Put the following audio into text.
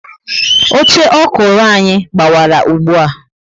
Oche ọkụrụ anyị gbawara ùgbúà